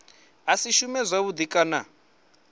a si shume zwavhudi kana